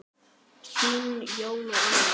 Þín, Jón og Anna.